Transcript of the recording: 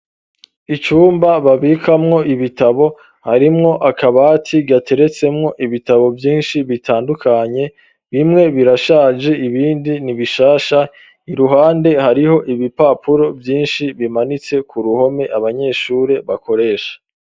Icumba babikamwo ibitabo harimwo akabati gateretsemwo ibitabo vyinshi bitandukanye bimwe birashaje ibindi nibishasha iruhande hariho ibipapuro vyinshi bimanitse ku ruhome abanyeshure bakoresha.